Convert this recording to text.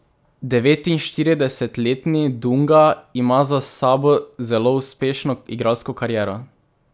Devetinštiridesetletni Dunga ima za sabo zelo uspešno igralsko kariero.